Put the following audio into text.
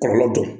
Kɔlɔlɔ dɔ